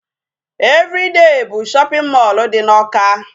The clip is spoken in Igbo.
Everyday bụ shopping mall dị n'Awka.